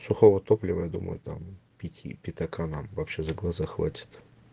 сухого топлива я думаю там пяти пятака нам вообще за глаза хватит